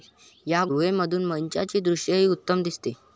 या गुहेमधून मंचाचे दृश्यही उत्तम दिसते.